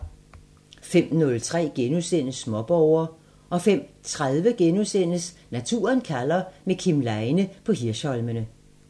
05:03: Småborger * 05:30: Naturen kalder – med Kim Leine på Hirsholmene *